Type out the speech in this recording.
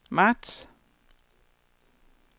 marts